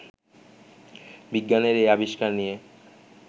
বিজ্ঞানের এই আবিষ্কার নিয়ে